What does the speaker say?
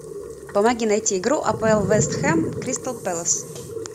помоги найти игру апл вест хэм кристал пэлас